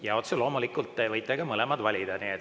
Jaa, otse loomulikult te võite ka mõlemad valida.